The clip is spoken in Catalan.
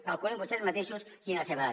calculin vostès mateixos quina és la seva edat